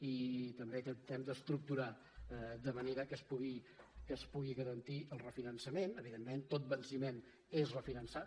i també tractem d’estructurar de manera que es pugui garantir el refinançament evidentment tot venciment és refinançat